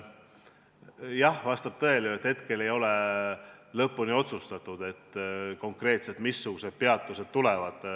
Jah, vastab tõele, et hetkel ei ole lõpuni otsustatud, missugused konkreetsed peatused trassile tulevad.